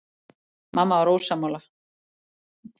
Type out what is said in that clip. Mamma var sammála.